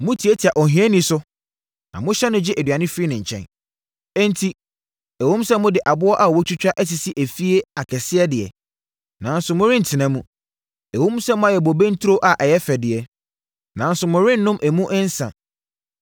Motiatia ohiani so na mohyɛ no gye aduane firi ne nkyɛn. Enti, ɛwom sɛ mode aboɔ a wɔatwa asisi afie akɛseɛ deɛ, nanso morentena mu; ɛwom sɛ moayɛ bobe nturo a ɛyɛ fɛ deɛ nanso morennom emu nsã.